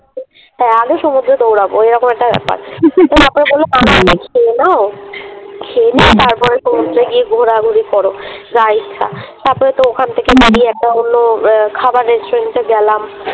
হ্যাঁ আগে সমুদ্রে দৌড়াবো এরকম একটা ব্যাপার তারপরে বলল খেয়ে নাও, খেয়ে নিয়ে তারপর সমুদ্রে গিয়ে ঘোরাঘুরি করো যা ইচ্ছা তার পরে তো ওখান বলল আহ খাবার Restaurant এ গেলাম।